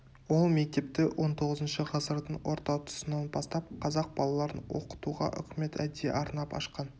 ол мектепті он тоғызыншы ғасырдың орта тұсынан бастап қазақ балаларын оқытуға үкімет әдейі арнап ашқан